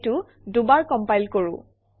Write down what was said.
এইটো দুবাৰ কমপাইল কৰোঁ